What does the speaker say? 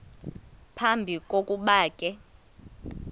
phambi kokuba ke